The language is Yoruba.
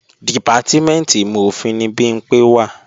Dìpátímẹ̀ntì ìmọ̀-òfin ni Bimpé wà